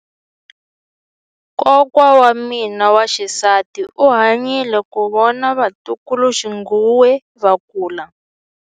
Kokwa wa mina wa xisati u hanyile ku vona vatukuluxinghuwe va kula.